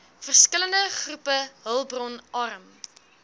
verskillende groepe hulpbronarm